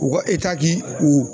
U ka k'i u